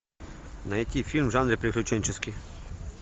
найти фильм в жанре приключенческий